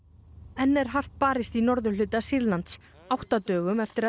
enn er hart barist í norðurhluta Sýrlands átta dögum eftir